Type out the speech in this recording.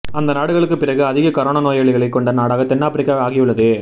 அந்த நாடுகளுக்குப் பிறகு அதிக கரோனா நோயாளிகளைக் கொண்ட நாடாக தென் ஆப்பிரிக்கா ஆகியுள்ளது